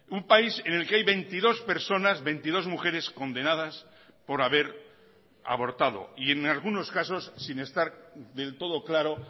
un país en el que hay veintidós personas veintidós mujeres condenadas por haber abortado y en algunos casos sin estar del todo claro